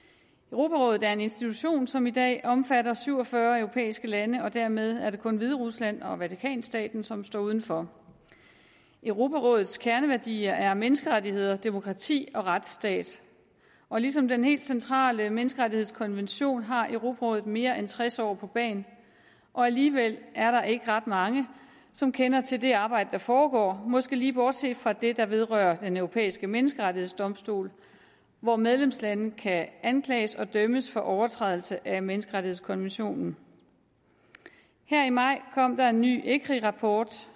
europarådet er en institution som i dag omfatter syv og fyrre europæiske lande og dermed er det kun hviderusland og vatikanstaten som står udenfor europarådets kerneværdier er menneskerettigheder demokrati og retsstat ligesom den helt centrale menneskerettighedskonvention har europarådet mere end tres år på bagen og alligevel er der ikke ret mange som kender til det arbejde der foregår måske lige bortset fra det der vedrører den europæiske menneskerettighedsdomstol hvor medlemslande kan anklages og dømmes for overtrædelse af menneskerettighedskonventionen her i maj kom der en ny ecri rapport